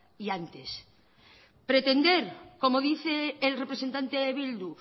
y antes pretender como dice el representante de bildu